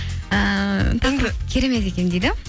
ііі керемет екен дейді